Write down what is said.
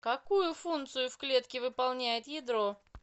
какую функцию в клетке выполняет ядро